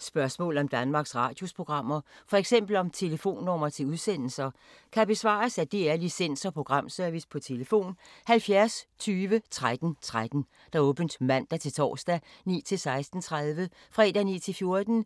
Spørgsmål om Danmarks Radios programmer, f.eks. om telefonnumre til udsendelser, kan besvares af DR Licens- og Programservice: tlf. 70 20 13 13, åbent mandag-torsdag 9.00-16.30, fredag